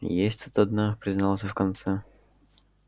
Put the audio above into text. есть тут одна признался в конце концов джералд